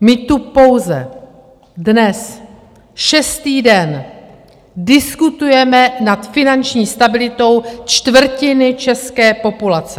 My tu pouze dnes šestý den diskutujeme nad finanční stabilitou čtvrtiny české populace.